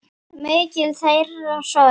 Mikil er þeirra sorg.